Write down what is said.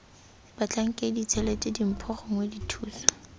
batlhankedi tshelete dimpho gongwe dithuso